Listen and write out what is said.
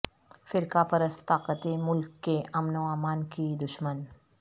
فرقہ پرست طاقتیں ملک کے امن وامان کی دشمن